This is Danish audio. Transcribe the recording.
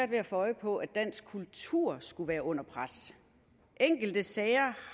ved at få øje på at dansk kultur skulle være under pres enkelte sager